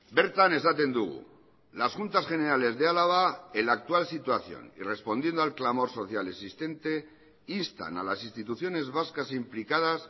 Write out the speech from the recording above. bertan esaten dugu las juntas generales de álava en la actual situación y respondiendo al clamor social existente instan a las instituciones vascas implicadas